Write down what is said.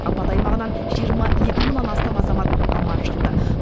апат аймағынан жиырма екі мыңнан астам азамат аман шықты